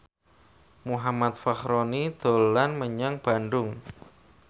Muhammad Fachroni dolan menyang Bandung